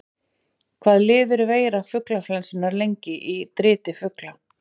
Hvað lifir veira fuglaflensunnar lengi í driti fugla?